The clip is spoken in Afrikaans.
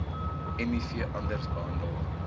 miv anders behandel